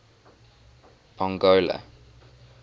pongola